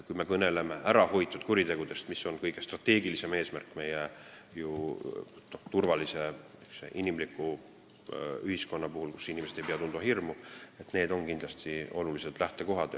Kui me kõneleme ärahoitud kuritegudest, mis on kõige strateegilisem eesmärk turvalises ja inimlikus ühiskonnas, kus inimesed ei pea tundma hirmu, siis need on kindlasti olulised lähtekohad.